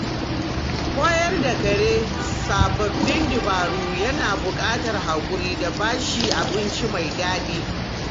Koyar da kare sababbin dabaru yana buƙatar haƙuri da ba shi abinci mai daɗi.